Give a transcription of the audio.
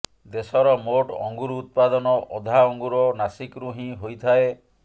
ଦେଶର ମୋଟ ଅଙ୍ଗୁର ଉତ୍ପାଦନ ଅଧା ଅଙ୍ଗୁର ନାସିକରୁ ହିଁ ହୋଇଥାଏ